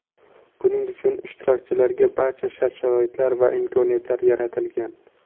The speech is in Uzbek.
Buning uchun ishtirokchilarga barcha shart-sharoitlar va imkoniyatlar yaratilgan.